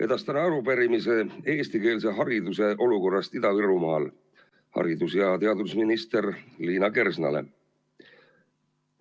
Edastan arupärimise eestikeelse hariduse olukorrast Ida-Virumaal haridus‑ ja teadusminister Liina Kersnale.